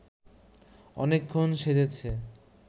অনেকক্ষণ সেজেছে